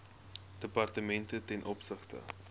departemente ten opsigte